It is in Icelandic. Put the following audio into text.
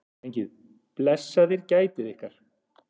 Drengir, blessaðir gætið ykkar.